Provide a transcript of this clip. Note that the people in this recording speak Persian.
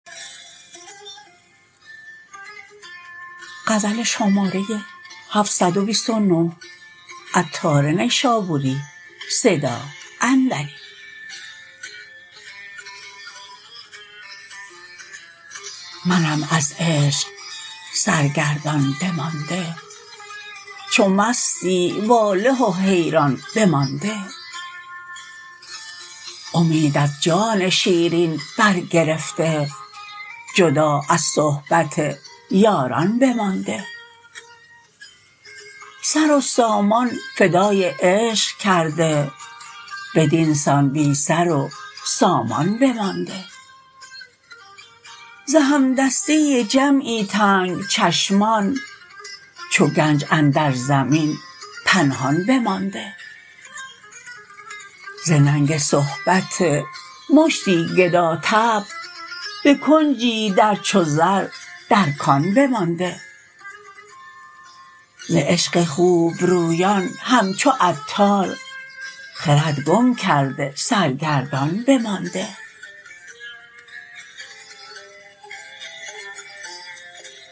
منم از عشق سرگردان بمانده چو مستی واله و حیران بمانده امید از جان شیرین بر گرفته جدا از صحبت یاران بمانده سر و سامان فدای عشق کرده بدین سان بی سر و سامان بمانده ز همدستی جمعی تنگ چشمان چو گنج اندر زمین پنهان بمانده ز ننگ صحبت مشتی گدا طبع به کنجی در چو زر در کان بمانده ز عشق خوبرویان همچو عطار خرد گم کرده سرگردان بمانده